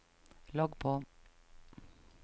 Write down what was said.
logg på